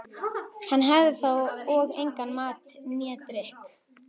Hann hafði þá og engan mat né drykk.